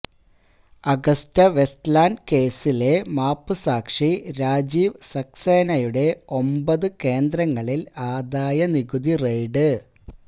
AgustaWestland കേസിലെ മാപ്പുസാക്ഷി രാജീവ് സക്സേനയുടെ ഒമ്പത് കേന്ദ്രങ്ങളില് ആദായനികുതി റെയ്ഡ്